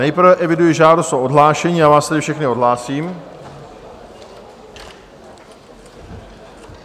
Nejprve eviduji žádost o odhlášení, já vás tedy všechny odhlásím.